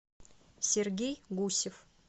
сергей гусев